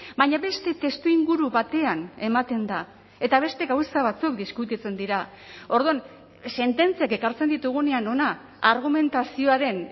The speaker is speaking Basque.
baina beste testuinguru batean ematen da eta beste gauza batzuk diskutitzen dira orduan sententziak ekartzen ditugunean hona argumentazioaren